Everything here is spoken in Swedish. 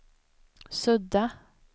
sudda